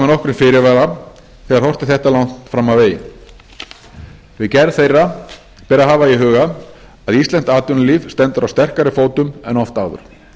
nokkrum fyrirvara þegar horft er þetta langt fram á veginn við gerð þeirra ber að hafa í huga að íslenskt atvinnulíf stendur á sterkari fótum en oft áður